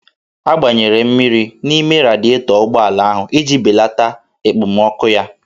A gbanyere mmiri n'ime radietọ ụgbọala ahụ iji balata ekpomọkụ ya